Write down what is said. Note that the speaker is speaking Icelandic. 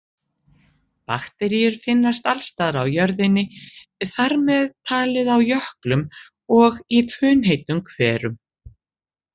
Bakteríur finnast alls staðar á jörðinni, þar með talið á jöklum og í funheitum hverum.